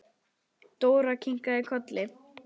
Dóra kinkaði kolli.